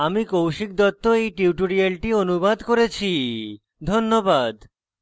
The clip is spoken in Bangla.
আমি কৌশিক দত্ত এই টিউটোরিয়ালটি অনুবাদ করেছি ধন্যবাদ